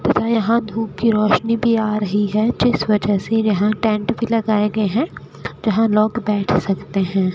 तथा यहां धूप की रोशनी भी आ रही है जिस वजह से यहां टेंट भी लगाए गयें हैं जहां लोग बैठ सकते हैं।